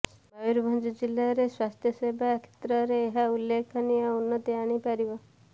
ମୟୂରଭଞ୍ଜ ଜିଲ୍ଲାରେ ସ୍ୱାସ୍ଥ୍ୟସେବା କ୍ଷେତ୍ରରେ ଏହା ଉଲ୍ଲେଖନୀୟ ଉନ୍ନତି ଆଣିପାରିବ